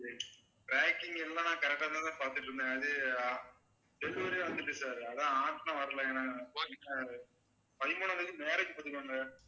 packing எல்லாம் correct ஆதான் பார்த்துட்டு இருந்தேன் அது வந்துட்டு sir அதான் வரலை எனக்கு பதிமூனாம் தேதி marriage பாத்துக்கோங்க